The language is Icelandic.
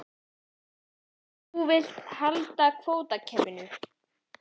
Þannig að þú vilt halda kvótakerfinu?